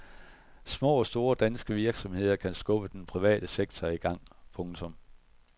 Små og store danske virksomheder kan skubbe den private sektor i gang. punktum